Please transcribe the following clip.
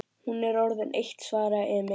Hún er orðin eitt, svaraði Emil.